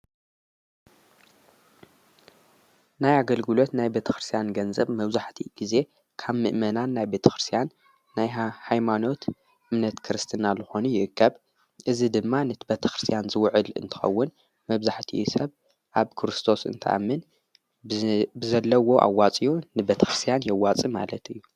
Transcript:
ናይ ኣገልግሎት ናይ ቤተ ክርስያን ገንዘብ መውዙሕቲ ጊዜ ካብ ምእመናን ናይ ቤተ ክርስያን ናይ ኃይማኖት እምነት ክርስትናልኾኑ ይእከብ እዝ ድማ ንትበተ ክርስያን ዝውዕል እንተኸውን መብዛሕቲዩ ሰብ ኣብ ክርስቶስ እንተኣምን ብዘለዎ ኣዋፂኡ ንበት ክርስያን የዋፂ ማለት እዩ።